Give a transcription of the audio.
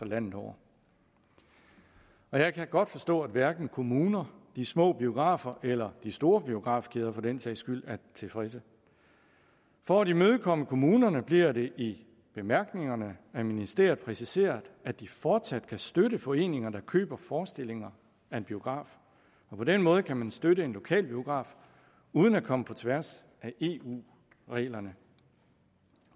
landet over jeg kan godt forstå at hverken kommunerne de små biografer eller de store biografkæder for den sags skyld er tilfredse for at imødekomme kommunerne bliver det i bemærkningerne af ministeriet præciseret at de fortsat kan støtte foreninger der køber forestillinger af en biograf på den måde kan man støtte en lokal biograf uden at komme på tværs af eu reglerne